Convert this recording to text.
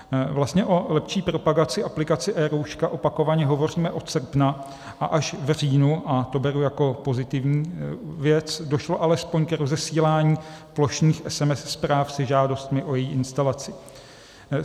Vlastně o lepší propagaci aplikace eRouška opakovaně hovoříme od srpna, a až v říjnu - a to beru jako pozitivní věc - došlo alespoň k rozesílání plošných SMS zpráv se žádostmi o její instalaci.